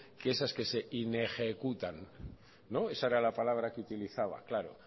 que esas que se inejecutan no esa era la palabra que utilizaba claro